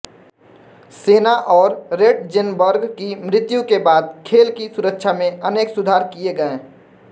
सेना और रेटजेनबर्ग की मृत्यु के बाद खेल की सुरक्षा में अनेक सुधार किये गए